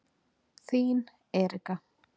Þín Erika.